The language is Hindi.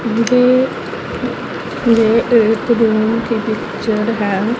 मुझे ये एक रूम की पिक्चर है।